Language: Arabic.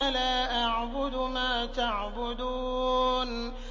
لَا أَعْبُدُ مَا تَعْبُدُونَ